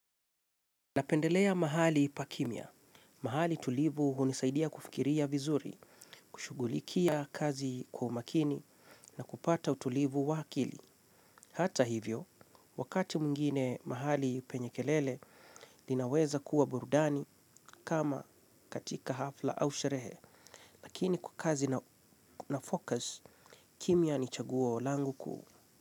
Napendelea mahali pa kimya. Mahali tulivu hunisaidia kufikiria vizuri, kushughulikia kazi kwa umakini na kupata utulivu wa akili. Hata hivyo, wakati mwingine mahali penye kelele, inaweza kuwa burudani kama katika hafla au sherehe. Lakini kwa kazi nafocus, kimya ni chaguo langu kuu.